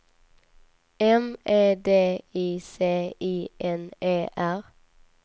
M E D I C I N E R